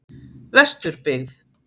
Vesturbyggð